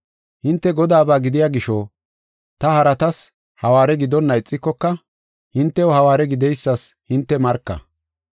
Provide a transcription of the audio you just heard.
Hinte Godaaba gidiya gisho, ta haratas hawaare gidonna ixikoka, hintew hawaare gideysas hinte marka.